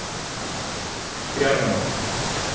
Bjarma